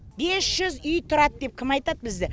бес жүз үй тұрады деп кім айтады бізді